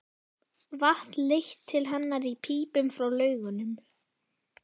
Vatn leitt til hennar í pípum frá laugunum.